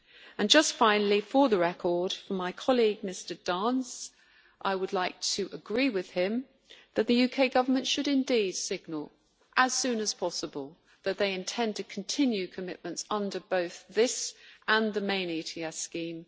And finally, for the record, for my colleague Mr Dance, I would like to agree with him that the UK Government should indeed signal, as soon as possible, that they intend to continue commitments under both this and the main ETS scheme.